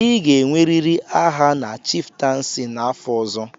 Ị ga-enwerịrị aha na chiftensi n'afọ ọzọ.